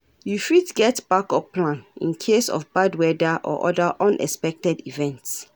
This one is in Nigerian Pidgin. You fit get backup plan in case of bad weather or other unexpected events.